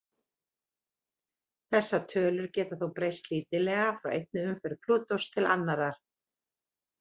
Þessar tölur geta þó breyst lítillega frá einni umferð Plútós til annarrar.